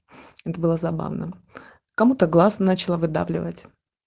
это было забавно кому-то глаз сначала выдавливать